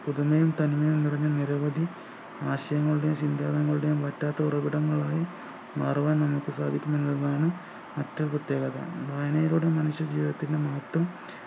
പുതുമയും തന്മയും നിറഞ്ഞ നിരവധി ആശയങ്ങളുടെയും സിദ്ധാന്തങ്ങളുടെയും വറ്റാത്ത ഉറവിടങ്ങളായി മാറുവാൻ നമുക്ക് സാധിക്കും എന്നതാണ് മറ്റു പ്രത്യേകത വായനയിലൂടെ മനുഷ്യ ജീവിതത്തിനും മട്ടും